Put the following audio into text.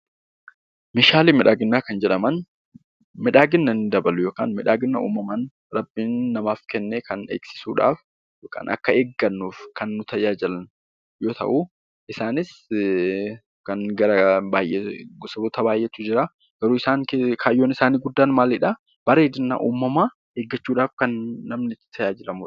Meeshaalee miidhaginaa kan jedhaman miidhagina kan dabalu yookaan miidhagina uumamaan Rabbiin namaaf kenne kan eegsisuu dhaaf yookaan akka eeggannuuf kan nu tajaajilan yoo ta'u, isaanis gosoota baay'ee tu jira. Garuu kaayyoo isaa inni guddaan maalidhaa? bareedina uumamaa eeggachuu dhaaf kan namni itti tajaajiilamu dha.